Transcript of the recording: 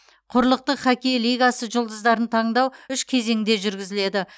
құрлықтық хоккей лигасы жұлдыздарын таңдау үш кезеңде жүргізіледі